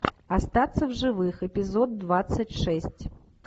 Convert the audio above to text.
остаться в живых эпизод двадцать шесть